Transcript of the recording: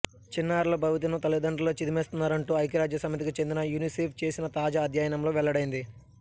చిన్నారుల భవితను తల్లిదండ్రులే చిదిమేస్తున్నారంటూ ఐక్యరాజ్యసమితికి చెందిన యునిసెఫ్ చేసిన తాజా అధ్యయనంలో వెల్లడైంది